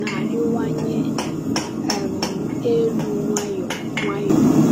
na-arịwanye um elu nwayọ nwayọ.